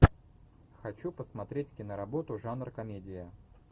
хочу посмотреть киноработу жанр комедия